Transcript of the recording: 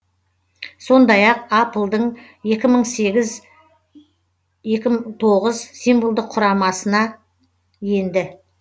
сондай ақ апл дың екі мың сегіз екі мың тоғыз символдық құрамасына енді